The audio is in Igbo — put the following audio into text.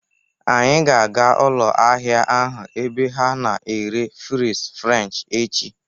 Anyị ga-aga ụlọ ahịa ahụ ebe ha na-ere fries french echi